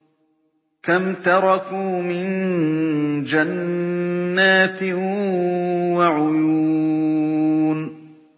كَمْ تَرَكُوا مِن جَنَّاتٍ وَعُيُونٍ